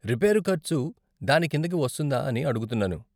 Repair ఖర్చు దాని కిందకి వస్తుందా అని అడుగుతున్నాను.